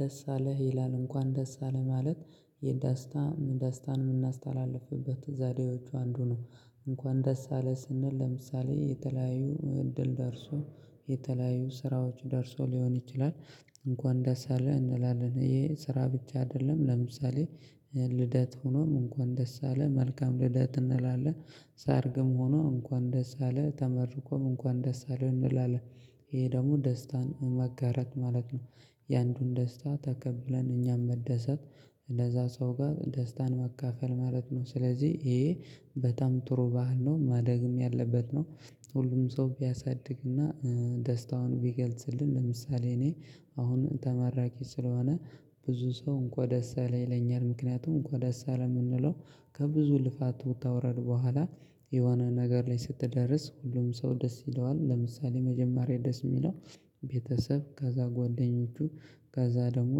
ደሳለህ ይላል እንኳን ደስ አለ ማለት የደስታ ደስታን የምናስተላልፍበት ዛሬዎቹ አንዱ ነው እንኳን ደስ አለ ስንል ለምሳሌ የተለያዩ እድል ደርሶ የተለያዩ ስራዎች ደርሶ ሊሆን ይችላል። እንኳን ደስ አለ እንላለን ይሄ ስራ ብቻ አይደለም ለምሳሌ ልደት ሆኖም እንኳን ደስ አለ መልካም ልደት እንላለን። ሰርግም ሆኖ እንኳን ደስ አለ ተመርቆም እንኳን ደስ አለን እንላለን። ይሄ ደግሞ ደስታን መጋራት ማለት ነው። የአንዱን ደስታ ተቀብለን እኛም መደሰት። ለዛ ሰው ጋር ደስታን መካፈል ማለት ነው። ስለዚህ ይሄ በጣም ጥሩ ባህል ነው ማደግም ያለበት ነው። ሁሉም ሰው ቢያሳድግና። ደስታውን ቢገልጽልን ለምሳሌ እኔ አሁን ተመራቂ ስለሆነ። ብዙ ሰው እንኳን ደስ አለ ይለኛል። ምክንያቱም እንኳን ደስ የምንለው ከብዙ ልፋት ውጣ ወራድ በኋላ የሆነ ነገር ላይ ስትደርስ ሁሉም ሰው ደስ ይለዋል። ለምሳሌ መጀመሪያ ደስ የሚለው ቤተሰብ ከዛ ጓደኞቹ ከዛ ደግሞ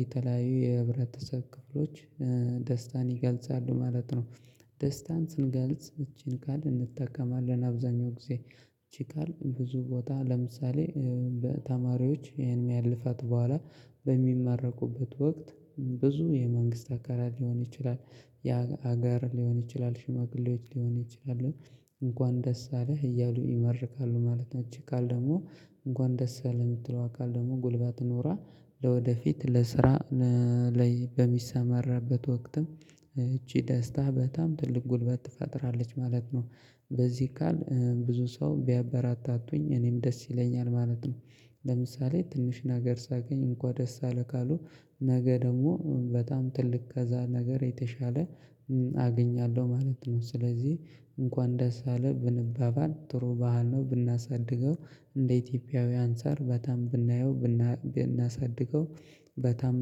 የተለያዩ የህብረተሰብ ክፍሎች ደስታን ይገልጻሉ ማለት ነው። ደስታን ስንገልጽ እቺን ቃል እንጠቀማለን አብዛኛው ጊዜ። እቺ ቃል ብዙ ቦታ ለምሳሌ በተማሪዎች ይሄን የሚያልፋት በኋላ። በሚማረቁበት ወቅት ብዙ የመንግስት አካላት ሊሆን ይችላል። ያ ሀገር ሊሆን ይችላል ሽማግሌዎች ሊሆን ይችላል። እንኳን ደስ አለህ እያሉ ይመርካሉ ማለት ነው። እች ቃል ደሞ እንኳን ደስ አለህ የምትለው አካል ደግሞ ጉልባት ኖራ። ለወደፊት ለስራ ለላይ በሚሰማረበት ወቅትም። እቺ ደስታ በጣም ትልቅ ጉልበት ትፈጥራለች ማለት ነው። በዚህ ቃል ብዙ ሰው ቢያበራታቱኝ እኔም ደስ ይለኛል ማለት ነው። ለምሳሌ ትንሽ ነገር ሳገኝ እንኳን ደስ አለ ካሉ። ነገ ደግሞ በጣም ትልቅ ከዛ ነገር የተሻለ አገኛለሁ ማለት ነው። ስለዚህ እንኳን ደስ አለ ብንባባን ጥሩ ባሀል ነው። ብናሳድገው እንደ ኢትዮጵያዊ አንፃር በጣም ብናየው ብናሳድገው በጣም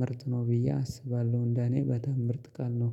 ምርጥ ነው ብዬ አስባለሁ። እንደኔ በጣም ምርጥ ቃልነው